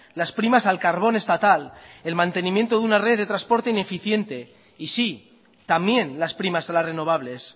las primas al carbón estatal el mantenimiento de una red de transporte ineficiente y sí también las primas a las renovables